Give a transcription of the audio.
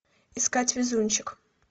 искать везунчик